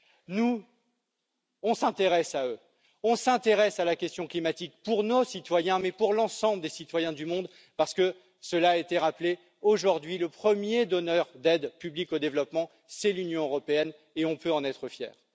Nous nous intéressons à eux, nous nous intéressons à la question climatique pour nos citoyens et pour l'ensemble des citoyens du monde, parce que cela a été rappelé aujourd'hui le premier donneur d'aide publique au développement, c'est l'Union européenne, et nous pouvons en être fiers.